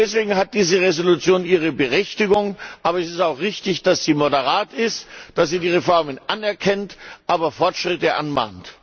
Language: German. Deswegen hat diese Entschließung ihre Berechtigung, aber es ist auch richtig, dass sie moderat ist, dass sie die Reformen anerkennt, aber Fortschritte anmahnt.